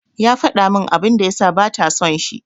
Ya faɗa min abin da ya sa bata son shi.